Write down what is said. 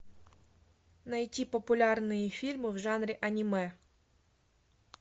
найти популярные фильмы в жанре аниме